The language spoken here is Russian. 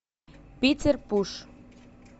питер пуш